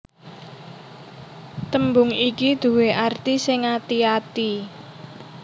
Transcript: Tembung iki due arti sing ati ati